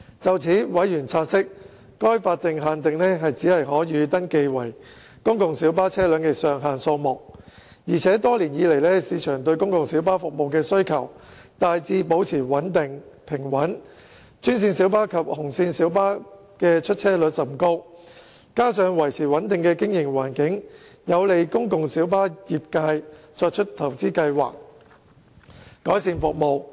就此，委員察悉，該法定限定只是可予登記為公共小巴的車輛的上限數目，而且多年來，市場對公共小巴服務的需求大致保持平穩，專線小巴及紅線小巴的出車率甚高，加上維持穩定的經營環境，有利公共小巴業界作出投資計劃，改善服務。